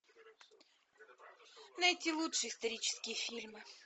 найти лучшие исторические фильмы